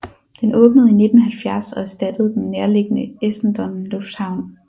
Den åbnede i 1970 og erstattede den nærliggende Essendon Lufthavn